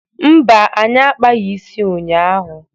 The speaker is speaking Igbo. Mba, anyị akpaghị isi ụnyaahụ.